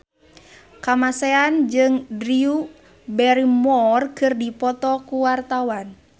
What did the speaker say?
Kamasean jeung Drew Barrymore keur dipoto ku wartawan